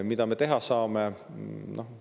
Mida me teha saame?